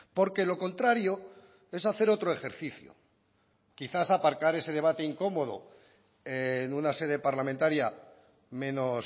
porque lo contrario es hacer otro ejercicio quizás aparcar ese debate incomodo en una sede parlamentaria menos